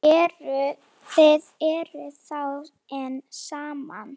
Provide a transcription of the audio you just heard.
Þið eruð þá enn saman?